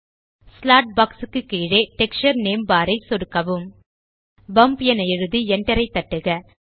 slot box க்கு கீழே texture name bar ஐ சொடுக்கவும் பம்ப் என எழுதி enter கே ஐ தட்டுக